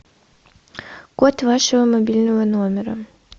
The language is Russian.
код вашего мобильного номера